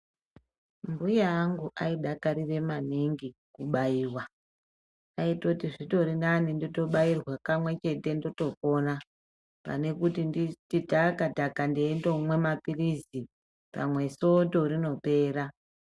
Mbuya angu aidakarire maningi kubairwa. Aitoti zvitorinane kubairwa kamwe chete ndotopona, pane kuti ndiri taka-taka ndeindomwa maphirizi, pamwe soto rinopera.